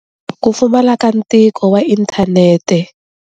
Ku pfamala ka ntiko wa inthanete.